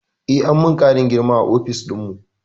Eh, an min ƙarin girma a ofis dinmu